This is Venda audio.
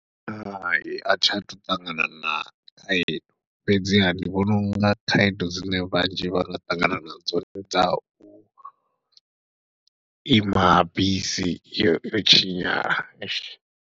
Hai athi athu u ṱangana na khaedu, fhedziha ndi vhona unga khaedu dzine vhanzhi vha nga ṱangana nadzo ndi dza u ima bisi yo yo tshinyala .